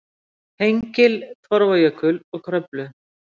Hengil, Torfajökul og Kröflu.